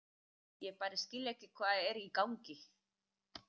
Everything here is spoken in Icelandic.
Ég bara skil ekki hvað er í gangi.